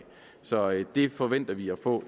så det forventer vi at få